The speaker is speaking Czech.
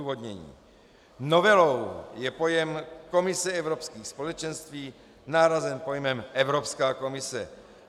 Odůvodnění: Novelou je pojem Komise Evropských společenství nahrazen pojmem Evropská komise.